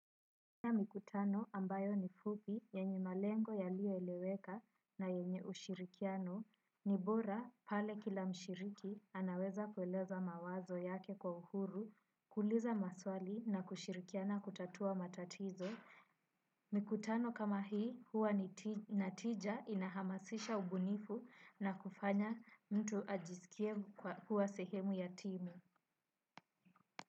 Ya mikutano ambayo ni fupi, yenye malengo yalio eleweka na yenye ushirikiano, ni bora pale kila mshiriki anaweza kueleza mawazo yake kwa uhuru, kuliza maswali na kushirikiana kutatua matatizo, mikutano kama hii huwa ni natija inahamasisha ubunifu na kufanya mtu ajisikie kuwa sehemu ya timu.